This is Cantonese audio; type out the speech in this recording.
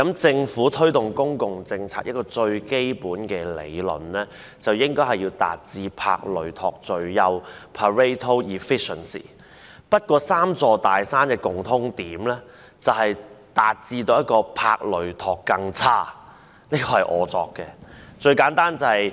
政府推動公共政策，最基本的理論是應該要達致帕累托最優，不過，"三座大山"的共通點則是達致"帕累托更差"——這是我胡謅出來的。